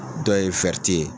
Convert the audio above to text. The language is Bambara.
Dɔw ye ye